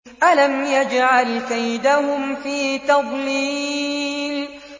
أَلَمْ يَجْعَلْ كَيْدَهُمْ فِي تَضْلِيلٍ